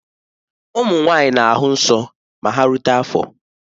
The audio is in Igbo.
Ụmụ nwanyị na-ahụ nsọ ma ha rute afọ